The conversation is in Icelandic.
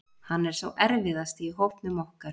Hann er sá erfiðasti í hópnum okkar.